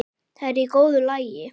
Það er í góðu lagi.